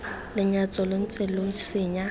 lenyatso lo ntse lo senya